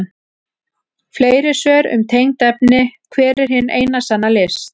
Fleiri svör um tengd efni: Hver er hin eina sanna list?